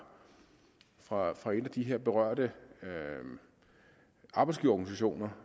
fra fra en af de her berørte arbejdsgiverorganisationer